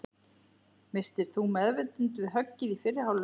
Misstir þú meðvitund við höggið í fyrri hálfleik?